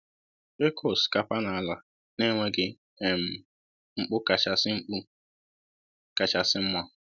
ịkụ osikapa n'ala na-enweghi um mkpu kachasị mkpu kachasị mma